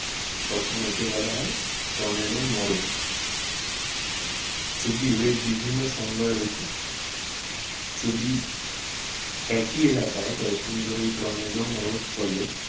তখন একে বলা হয় টর্নেডো মোড়ক যদিও এর বিভিন্ন সংজ্ঞা রয়েছে। যদি একই এলাকায় কয়েকদিন ধরে এই টর্নেডো মোড়ক চলে